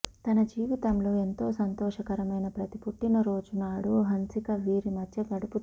తన జీవితంలో ఎంతో సంతోషకరమైన ప్రతి పుట్టిన రోజు నాడు హన్సిక వీరి మధ్య గడుపుతుంది